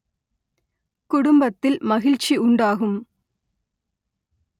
குடும்பத்தில் மகிழ்ச்சி உண்டாகும்